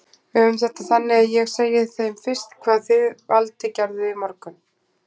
Við höfum þetta þannig að ég segi þeim fyrst hvað þið Valdi gerðuð í morgun.